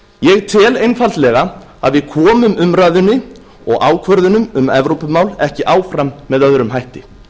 ég tel einfaldlega að við komum umræðunni og ákvörðunum um evrópumál ekki áfram með öðrum hætti